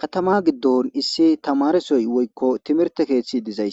Katama gidon issi tamaaresoy woyko timirte keethay